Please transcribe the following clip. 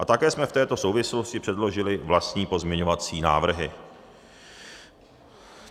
A také jsme v této souvislosti předložili vlastní pozměňovací návrhy.